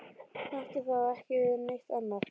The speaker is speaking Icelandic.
Hann átti þá ekki við neitt annað.